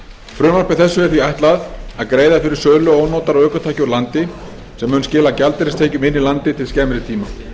frumvarpi þessu er því ætlað að greiða fyrir sölu notaðra ökutækja úr landi sem auka mun gjaldeyristekjur inn í landið til skemmri tíma